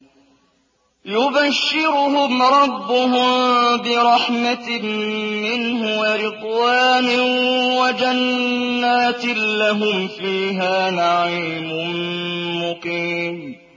يُبَشِّرُهُمْ رَبُّهُم بِرَحْمَةٍ مِّنْهُ وَرِضْوَانٍ وَجَنَّاتٍ لَّهُمْ فِيهَا نَعِيمٌ مُّقِيمٌ